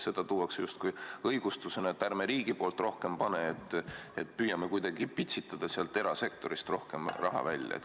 Seda tuuakse justkui õigustusena, et ärme riigi poolt rohkem paneme, püüame kuidagi pitsitada sealt erasektorist rohkem raha välja.